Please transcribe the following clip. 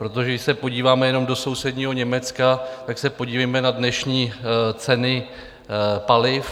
Protože když se podíváme jenom do sousedního Německa, tak se podívejme na dnešní ceny paliv.